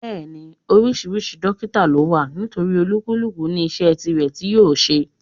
Bẹ́ẹ̀ni, oríṣiríṣi dọ́kítà ló wà nítorí olúkúlùkù ní iṣẹ́ tirẹ̀ tí yóò ṣe.